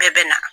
Bɛɛ bɛ na